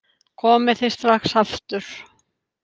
Komið þið strax aftur!